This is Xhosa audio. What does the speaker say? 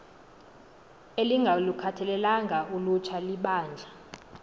elingalukhathalelanga ulutsha libandla